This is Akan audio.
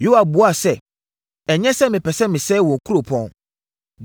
Yoab buaa sɛ, “Ɛnyɛ sɛ mepɛ sɛ mesɛe wo kuropɔn.